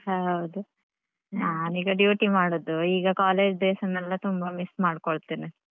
ಹೌದು ನಾನ್ ಈಗ duty ಮಾಡುದು ಈಗ college days ನೆಲ್ಲ ತುಂಬ miss ಮಾಡ್ಕೋಳ್ತೆನೆ.